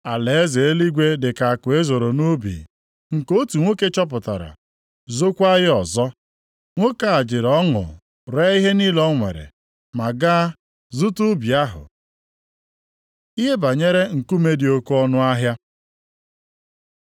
“Alaeze eluigwe dị ka akụ e zoro nʼubi, nke otu nwoke chọpụtara zookwa ya ọzọ. Nwoke a jiri ọṅụ ree ihe niile o nwere, ma gaa zụta ubi ahụ. Ilu banyere nkume dị oke ọnụahịa